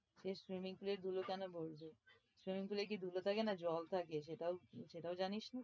এ swimming pool এ ধুলো কেন ঢুকবে? swimming pool এ কি ধুলো থাকে না জল থাকে? সেটাও সেটাও জানিস না?